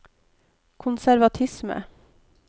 konservatisme